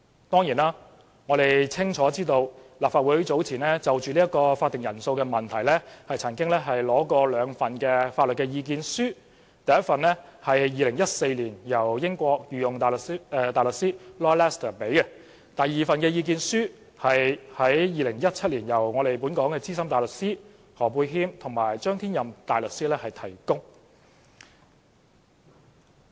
當然，我們清楚知道立法會早前就會議法定人數的問題，索取了兩份法律意見書，第一份意見書是2014年由英國御用大律師 Lord LESTER 提供，而第二份意見書是於2017年由本港資深大律師何沛謙及張天任大律師提供。